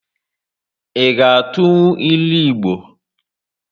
I ga atụnwu ịlụ Igbo?